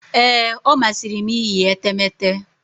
Ee, ọ masịrị m iyi etemeete.